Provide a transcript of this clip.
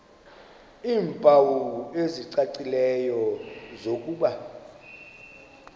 iimpawu ezicacileyo zokuba